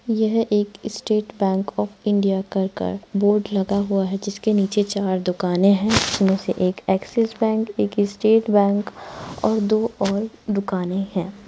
यह एक State Bank of India कर कर बोर्ड लगा हुआ है जिसके नीचे चार दुकानें हैं। उसमें से एक एक्सिस बैंक एक स्टेट बैंक और दो और दुकानें हैं।